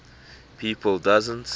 people doesn t